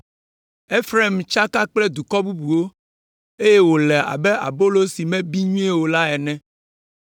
“Efraim tsaka kple dukɔ bubuwo, eye wòle abe abolo si mebi nyuie o la ene.